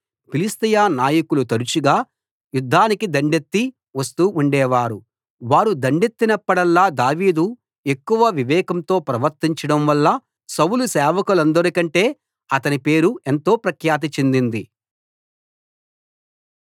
ఫిలిష్తీయ నాయకులు తరుచుగా యుద్ధానికి దండెత్తి వస్తూ ఉండేవారు వారు దండెత్తినప్పుడల్లా దావీదు ఎక్కువ వివేకంతో ప్రవర్తించడం వల్ల సౌలు సేవకులందరికంటే అతని పేరు ఎంతో ప్రఖ్యాతి చెందింది